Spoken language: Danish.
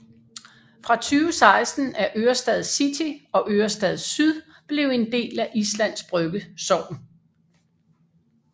Fra 2016 er Ørestad city og Ørestad syd blevet en del af Islands Brygge sogn